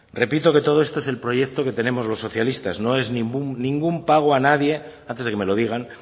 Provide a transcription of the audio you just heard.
repito que todo esto es el proyecto que tenemos los socialistas no es ningún pago a nadie antes de que me lo digan